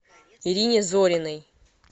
ирине зориной